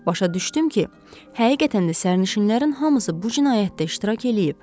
Başa düşdüm ki, həqiqətən də sərnişinlərin hamısı bu cinayətdə iştirak eləyib.